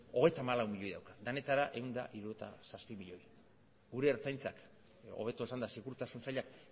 hogeita hamalau milioi dauka denetara ehun eta hirurogeita zazpi milioi gure ertzaintzak hobeto esanda segurtasun sailak